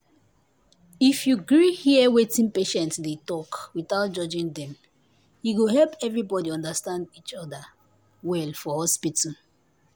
if you gree hear wetin patient dey talk without judging dem e go help everybody understand each understand each other well for hospital